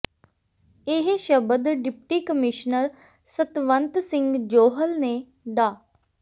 ਇਹ ਸ਼ਬਦ deputy commissioner Satwant Singh Johal ਨੇ ਡਾ